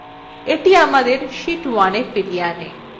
এটি আমাদের sheet 1এ ফিরিয়ে আনে